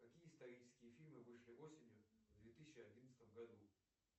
какие исторические фильмы вышли осенью в две тысячи одиннадцатом году